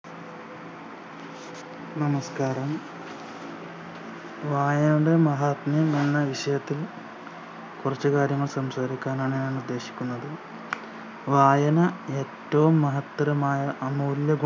നമസ്ക്കാരം വായനയുടെ മഹാത്മ്യം എന്ന വിഷയത്തിൽ കുറച്ച് കാര്യങ്ങൾ സംസാരിക്കാനാണ് ഞാനുദ്ദേശിക്കുന്നത് വായന ഏറ്റോം മഹത്തരമായ അമൂല്യ ഗുണ